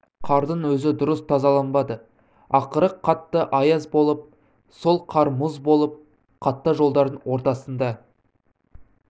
қардың өзі дұрыс тазаланбады ақыры қатты аяз болып сол қар мұз болып қатты жолдардың ортасында